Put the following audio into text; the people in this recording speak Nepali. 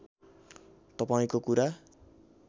तपाईँको कुरा